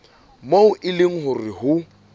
moo e leng hore ho